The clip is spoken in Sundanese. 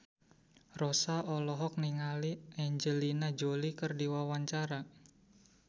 Rossa olohok ningali Angelina Jolie keur diwawancara